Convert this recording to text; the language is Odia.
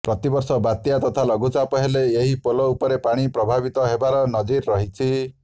ପ୍ରତି ବର୍ଷ ବାତ୍ୟା ତଥା ଲଘୁଚାପ ହେଲେ ଏହି ପୋଲ ଉପରେ ପାଣି ପ୍ରବାହିତ ହେବାର ନଜିର ରହିଛି